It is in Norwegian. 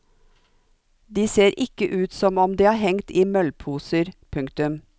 De ser ikke ut som om de har hengt i møllposer. punktum